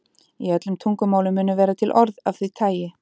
Í öllum tungumálum munu vera til orð af því tagi.